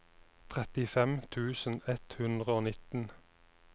trettifem tusen ett hundre og nitten